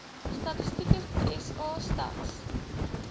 statistieke sa stats